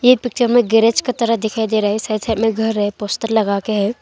ये पिक्चर में गेराज का तरह दिखाई दे रहा है साइड साइड में घर है पोस्टर लगाके है।